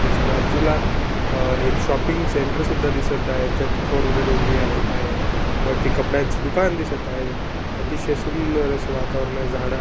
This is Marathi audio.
त्याच्या बाजूला अह एक शॉपिंग सेंटर सुद्धा दिसत आहे त्यात फोर व्हीलर उभी आहे बाहेर वरती कपड्यांच दुकान दिसत आहे अतिशय सुंदर असे वातावरण झाड--